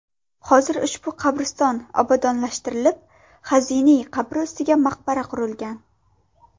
Hozir ushbu qabriston obodonlashtirilib, Xaziniy qabri ustiga maqbara qurilgan.